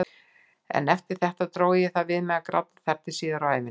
Eftir þetta dró ég það við mig að gráta þar til síðar á ævinni.